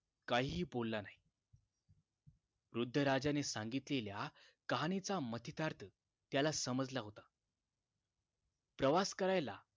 काहीही बोलला नाही वृद्धराजाने सांगितलेल्या कहाणीचा मतितार्थ त्याला समजला होता प्रवास करायला